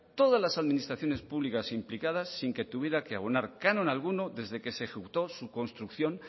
todas las administraciones públicas implicadas sin tuviera que abonar canon alguno desde que se ejecutó su construcción